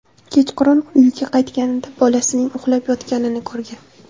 Kechqurun uyiga qaytganida bolasining uxlab yotganini ko‘rgan.